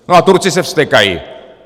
No a Turci se vztekají.